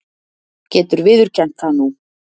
Getur viðurkennt það nú.